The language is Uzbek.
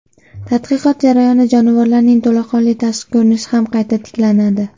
Tadqiqot jarayonida jonivorlarning to‘laqonli tashqi ko‘rinishi ham qayta tiklanadi.